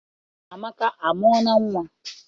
Amaka amụọla nnwa?